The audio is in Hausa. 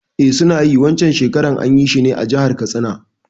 Eh suna yi, Wan can shekarar anyi shi ne a jahar Katsina